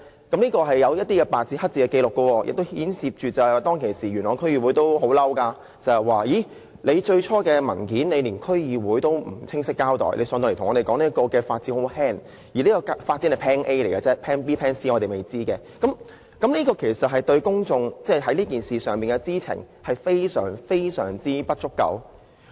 這是白紙黑字的紀錄，而當時元朗區議會也很憤怒，因為最初的文件並沒有向區議會清晰交代，其後又向區議會說發展的影響很輕微，而且當時只是 plan A， 還有 plan B 及 plan C 仍屬未知之數，公眾對此事所知的實在非常不足夠。